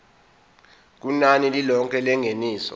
kunani lilonke lengeniso